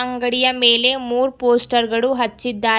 ಅಂಗಡಿಯ ಮೇಲೆ ಮೂರ್ ಪೋಸ್ಟರ್ ಗಳು ಹಚ್ಚಿದಾರೆ.